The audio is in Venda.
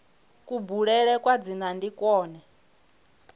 kubulele kwa dzina ndi kwone